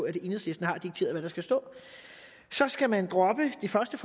at enhedslisten har dikteret hvad der skal stå så skal man droppe det første